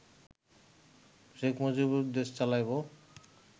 শেখ মুজিবর দেশ চালাইব